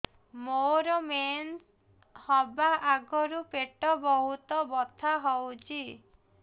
ମୋର ମେନ୍ସେସ ହବା ଆଗରୁ ପେଟ ବହୁତ ବଥା ହଉଚି